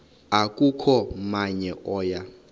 akukho namnye oya